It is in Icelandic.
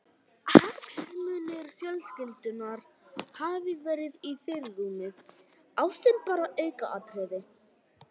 Hagsmunir fjölskyldunnar hafi verið í fyrirrúmi, ástin bara aukaatriði.